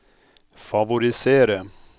favorisere